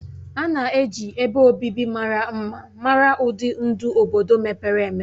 A na-eji ebe obibi mara mma mara ụdị ndụ obodo mepere emepe.